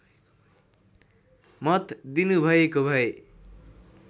मत दिनुभएको भए